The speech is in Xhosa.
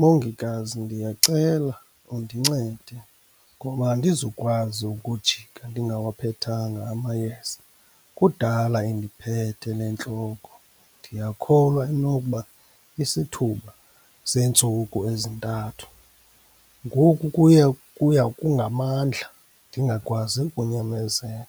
Mongikazi, ndiyacela undincede ngoba andizukwazi ukujika ndingawaphethanga amayeza. Kudala indiphethe le ntloko, ndiyakholwa inokuba isithuba seentsuku ezintathu. Ngoku kuya kuya kungamandla, ndingakwazi ukunyamezela.